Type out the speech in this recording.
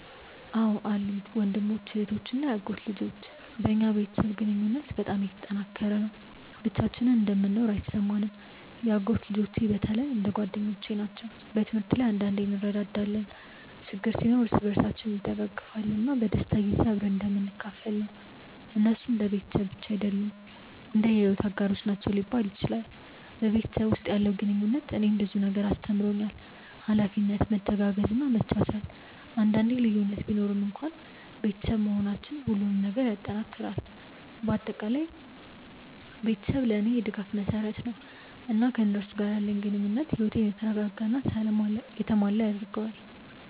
አዎን አሉኝ፤ ወንድሞች፣ እህቶች እና የአጎት ልጆች። በእኛ ቤተሰብ ግንኙነት በጣም የተጠናከረ ነው፣ ብቻችንን እንደምንኖር አይሰማንም። የአጎት ልጆቼ በተለይ እንደ ጓደኞቼ ናቸው። በትምህርት ላይ አንዳንዴ እንረዳዳለን፣ ችግር ሲኖር እርስ በርሳችን እንደግፋለን፣ እና በደስታ ጊዜ አብረን እንደምንካፈል ነው። እነሱ እንደ ቤተሰብ ብቻ አይደሉም፣ እንደ የሕይወት አጋሮች ናቸው ሊባል ይችላል። በቤተሰብ ውስጥ ያለው ግንኙነት እኔን ብዙ ነገር አስተምሮኛል፤ ኃላፊነት፣ መተጋገዝ እና መቻቻል። አንዳንዴ ልዩነት ቢኖርም እንኳን ቤተሰብ መሆናችን ሁሉንም ይጠናክራል። በአጠቃላይ ቤተሰቤ ለእኔ የድጋፍ መሰረት ነው፣ እና ከእነሱ ጋር ያለኝ ግንኙነት ሕይወቴን የተረጋጋ እና የተሞላ ያደርገዋል።